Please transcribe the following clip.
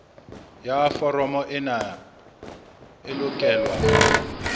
ya foromo ena e lokelwa